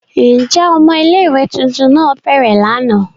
Njẹ ọmọ ìlé-ìwé tuntun náa bẹrẹ làná?